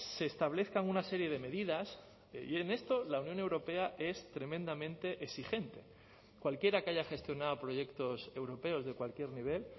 se establezcan una serie de medidas y en esto la unión europea es tremendamente exigente cualquiera que haya gestionado proyectos europeos de cualquier nivel